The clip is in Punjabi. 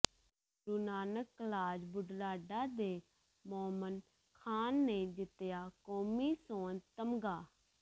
ਗੁਰੂ ਨਾਨਕ ਕਲਾਜ ਬੁਢਲਾਡਾ ਦੇ ਮੋਮਿਨ ਖਾਂ ਨੇ ਜਿੱਤਿਆ ਕੌਮੀ ਸੋਨ ਤਮਗਾ